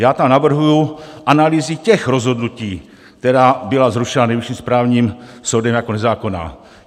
Já tam navrhuji analýzy těch rozhodnutí, která byla zrušena Nejvyšším správním soudem jako nezákonná.